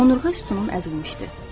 Onurğa sütunum əzilmişdi.